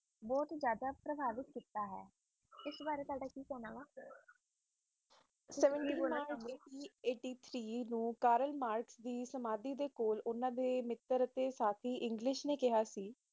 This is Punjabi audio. ਬੋਹਤ ਹੈ ਜਾਂਦਾ ਪਰਿਵਾਦੀਕ ਸ਼ਿਕ੍ਸ਼ਾ ਹੈ ਇਸ ਬਾਰੇ ਤੁਵੱਡਾ ਕਿ ਕਹਿਣਾ ਕਾਰਲ ਮਾਰਚ ਦੀ ਉਨ੍ਹਾਂ ਦੇ ਮਿੱਤਰ ਤੇ ਸਾਥੀ